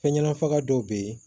Fɛn ɲanama dɔw be yen